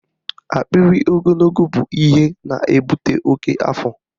Akpịrị ogologo bụ ihe na-ebute oke afọ